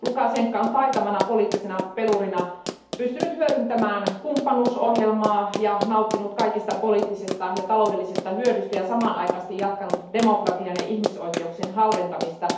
Lukashenko on taitavana poliittisena pelurina pystynyt hyödyntämään kumppanuusohjelmaa ja nauttinut kaikesta poliittisesta ja taloudellisesta hyödystä ja samanaikaisesti jatkanut demokratian ja ihmisoikeuksien halventamista.